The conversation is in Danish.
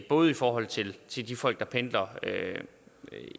både i forhold til de folk der pendler